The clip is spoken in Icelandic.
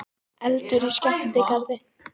Eldur í skemmtigarði